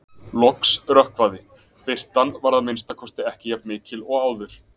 Loks rökkvaði- birtan var að minnsta kosti ekki jafn mikil og áður.